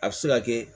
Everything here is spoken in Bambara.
A bɛ se ka kɛ